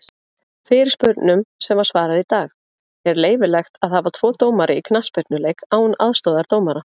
Fyrirspurnum sem var svarað í dag:-Er leyfilegt að hafa tvo dómara í knattspyrnuleik án aðstoðardómara?